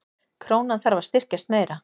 Krónan þarf að styrkjast meira